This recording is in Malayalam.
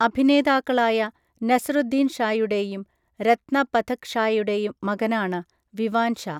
അഭിനേതാക്കളായ നസിറുദ്ദീൻ ഷായുടെയും രത്‌ന പഥക് ഷായുടെയും മകനാണ് വിവാൻ ഷാ .